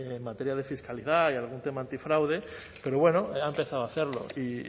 en materia de fiscalidad y algún tema antifraude pero bueno ha empezado a hacerlo y